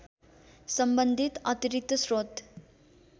सम्बन्धित अतिरिक्त स्रोत